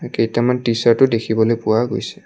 কেইটামান টি-চাৰ্টও দেখিবলৈ পোৱা গৈছে।